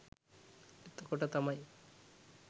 එතකොට තමයි